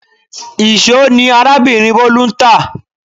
Íṣo ni arábìnrin Bolu ń tá